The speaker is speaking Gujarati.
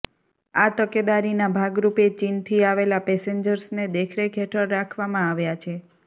આ તકેદારીના ભાગરૂપે ચીનથી આવેલા પેસેન્જર્સને દેખરેખ હેઠળ રાખવામાં આવ્યાં છે